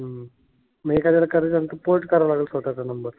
मग एखाद्याला करायच असेल तर पोर्ट करावा लागेल स्वतःचा नंबर.